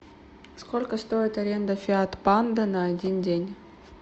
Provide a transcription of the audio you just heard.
сколько стоит аренда фиат панда на один день